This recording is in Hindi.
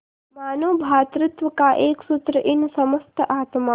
मानों भ्रातृत्व का एक सूत्र इन समस्त आत्माओं